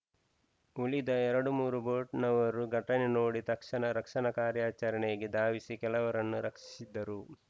ಉಳಿದ ಎರಡುಮೂರು ಬೋಟ್‌ನವರೂ ಘಟನೆ ನೋಡಿ ತಕ್ಷಣ ರಕ್ಷಣಾ ಕಾರ್ಯಾಚರಣೆಗೆ ಧಾವಿಸಿ ಕೆಲವರನ್ನು ರಕ್ಷಿಸಿದರು